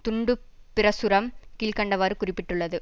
துண்டு பிரசுரம் கீழ் கண்டவாறு குறிப்பிட்டுள்ளது